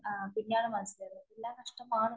ആഎല്ലാം നഷ്ടമാണ്.